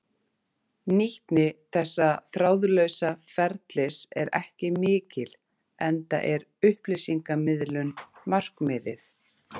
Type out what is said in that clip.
Nýtni þessa þráðlausa ferlis er ekki mikil enda er upplýsingamiðlun markmiðið.